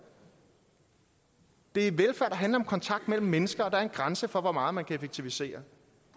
det er velfærd der handler om kontakt mellem mennesker og der er en grænse for hvor meget man kan effektivisere